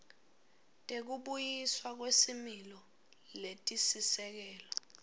tekubuyiswa kwesimilo letisisekelo